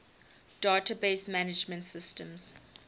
database management systems